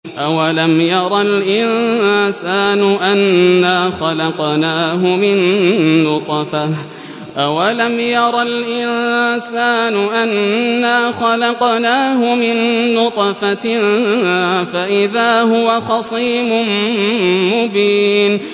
أَوَلَمْ يَرَ الْإِنسَانُ أَنَّا خَلَقْنَاهُ مِن نُّطْفَةٍ فَإِذَا هُوَ خَصِيمٌ مُّبِينٌ